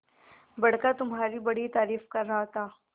बड़का तुम्हारी बड़ी तारीफ कर रहा था